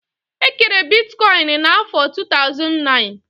E kere Bitikoin na afọr 2009